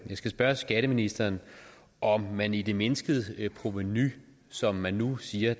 skal spørge skatteministeren om man i det mindskede provenu som man nu siger